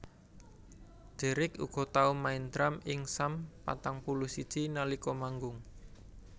Deryck uga tau main drum ing Sum patang puluh siji nalika manggung